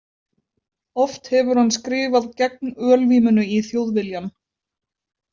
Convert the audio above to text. Oft hefur hann skrifað gegn ölvímunni í Þjóðviljann.